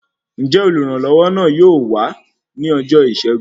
Njẹ oluranlowo náà yóò wá ní ọjọ Isẹgun?